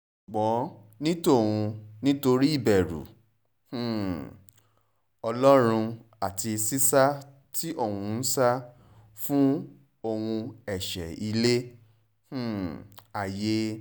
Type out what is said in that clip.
ṣùgbọ́n ní tòun nítorí ìbẹ̀rù um ọlọ́run àti sísá tí òun ń sá fún ohun ẹ̀ṣẹ̀ ilẹ̀ um ayé